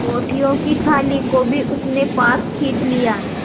रोटियों की थाली को भी उसने पास खींच लिया